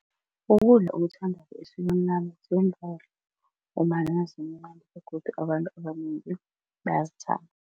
Ukudla ngombana zimnadi begodu abantu abanengi